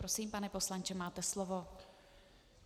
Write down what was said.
Prosím, pane poslanče, máte slovo.